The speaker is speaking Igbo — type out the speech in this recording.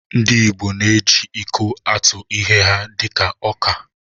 Ndị igbo na-eji iko atụ ihe ha dị ka ọka